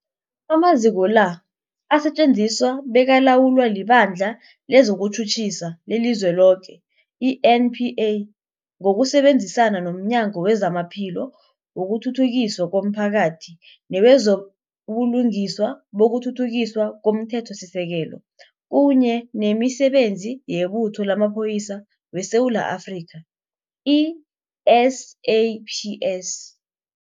Amaziko la asetjenziswa bekalawulwa liBandla lezokuTjhutjhisa leliZweloke, i-NPA, ngokusebenzisana nomnyango wezamaPhilo, wokuthuthukiswa komphakathi newezo buLungiswa nokuThuthukiswa komThethosisekelo, kunye nemiSebenzi yeButho lamaPholisa weSewula Afrika, i-SAPS.